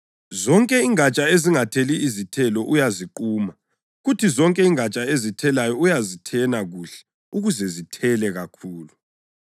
Zonke ingatsha ezingatheli izithelo uyaziquma, kuthi zonke ingatsha ezithelayo uyazithena kuhle ukuze zithele kakhulu.